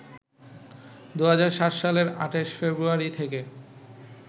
২০০৭ সালের ২৮ ফেব্রুয়ারি থেকে